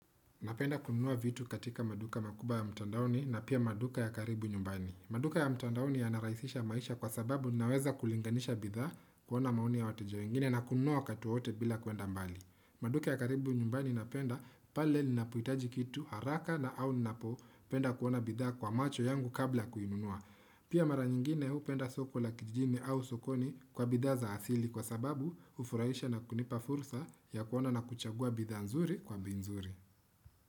Napenda kununua vitu katika maduka makubwa ya mtandaoni na pia maduka ya karibu nyumbani. Maduka ya mtandaoni yanarahisisha maisha kwa sababu ninaweza kulinganisha bidhaa kuona maoni ya wateja wengine na kununua wakati wowote bila kwenda mbali. Napenda kununua vitu katika maduka makubwa ya mtandaoni na pia maduka ya karibu nyumbani. Pia mara nyingine hupenda soko la kijini au sokoni kwa bidhaa za asili kwa sababu hufurahisha na kunipa fursa ya kuona na kuchagua bidhaa nzuri kwa bei nzuri.